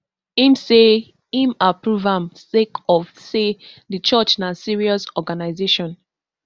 im say im approve am sake of say di church na serious organisation